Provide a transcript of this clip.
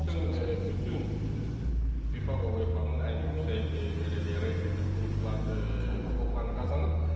Bütün, bütün FIFA və UEFA-nın ən yüksək belə deyək reytinqli kuboklarını qazanıb.